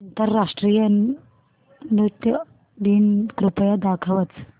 आंतरराष्ट्रीय नृत्य दिन कृपया दाखवच